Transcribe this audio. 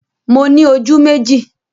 Mo ní ojú méjì